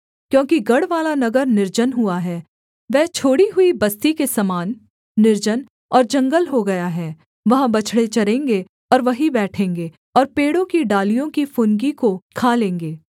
क्योंकि गढ़वाला नगर निर्जन हुआ है वह छोड़ी हुई बस्ती के समान निर्जन और जंगल हो गया है वहाँ बछड़े चरेंगे और वहीं बैठेंगे और पेड़ों की डालियों की फुनगी को खा लेंगे